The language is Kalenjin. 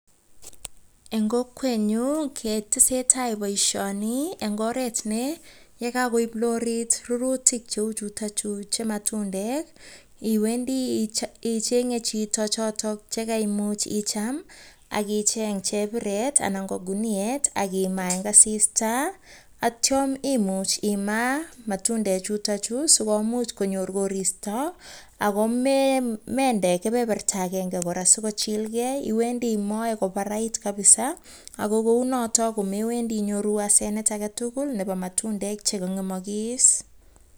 Eng kokwenyu ketesetai boishoni eng oretne. Yekakoip lorit logoek cheu chutokchu che matundek iwendi ichenye chito chotok chekaimuch icham, ak icheny chebiret anan ko kinuet ak imaa eng asista atyo imuch imaa matundechutochu sikomuch konyor koristo ako mende kebeberta agenge kora siko chilgei. Iwendi imoe kobarait kabisa ako kou notok komewendi inyoru asenet agetugul nebo matundek chekang'emokis.